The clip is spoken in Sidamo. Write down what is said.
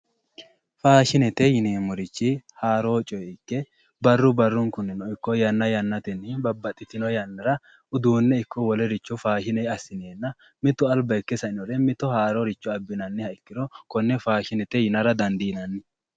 Faashinete yineemmorichi haaro coyre ikke barru barrunkunni ikko yanna yannatenni babbaxxitino yannara uduunne ikko wolericho faashine assi'nena mitu alba ikke sa'inore mitore haaro abbinannire konne faashinete yaa dandiinanni.